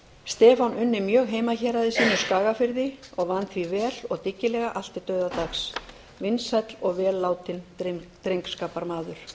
stefán unni mjög heimahéraði sínu skagafirði og vann því vel og dyggilega allt til dauðadags vinsæll og vel látinn drengskaparmaður